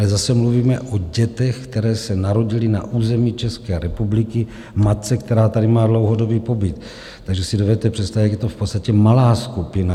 Ale zase mluvíme o dětech, které se narodily na území České republiky matce, která tady má dlouhodobý pobyt, takže si dovedete představit, jak je to v podstatě malá skupina.